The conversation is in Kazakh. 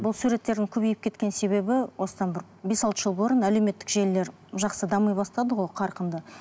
бұл суреттердің көбейіп кеткен себебі осыдан бір бес алты жыл бұрын әлеуметтік желілер жақсы дами бастады ғой қарқынды